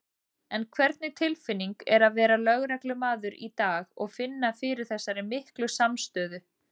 En hvernig tilfinning er að vera lögreglumaður í dag og finna fyrir þessari miklu samstöðu?